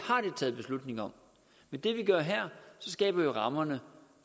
taget beslutning om med det vi gør her skaber vi rammerne